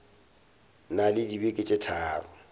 na le dibeke tše tharo